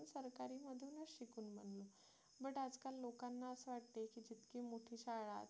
but आज काय लोकांना असं वाटते की जितकी मोठी शाळा